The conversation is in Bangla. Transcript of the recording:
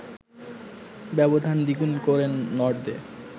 ব্যবধান দ্বিগুণ করেন নর্দে